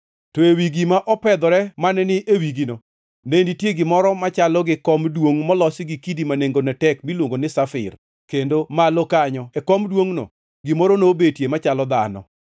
To ewi gima opedhore mane ni e wigino ne nitie gimoro machalo gi kom duongʼ molosi gi kidi ma nengone tek miluongo ni safir, kendo malo kanyo e kom duongʼno, gimoro nobetie machalo dhano.